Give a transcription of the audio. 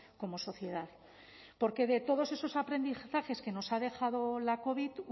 como sociedad porque de todos esos aprendizajes que nos ha dejado la covid